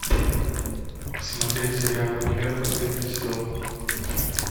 смотреть сериал универ последний сезон